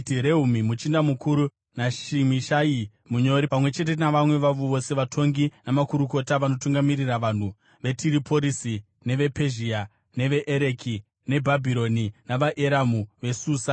Rehumi muchinda mukuru naShimishai munyori, pamwe chete navamwe vavo vose, vatongi namakurukota vanotungamirira vanhu veTiriporisi, nevePezhia, neveEreki neBhabhironi, navaEramu veSusa,